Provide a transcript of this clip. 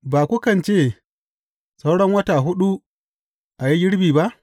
Ba kukan ce, Sauran wata huɗu a yi girbi ba?’